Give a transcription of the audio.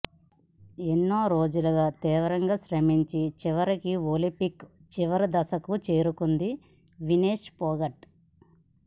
ఎన్నో రోజులుగా తీవ్రంగా శ్రమించి చివరికి ఒలింపిక్ చివరి దశకు చేరుకుంది వినేష్ పోగట్